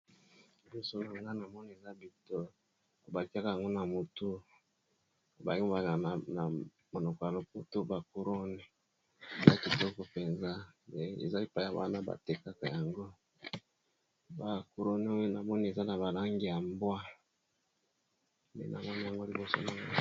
Liboso nangai nazomona bikoloko batiyaka yango na mutu balobaka na monoko ya lopoto couronne eza kitoko penza eza epayi batekisa yango eza na balangi ya mbwe ndenazomona liboso nangai.